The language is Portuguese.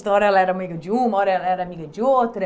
Então, uma hora ela era amiga de uma, uma hora ela era amiga de outra.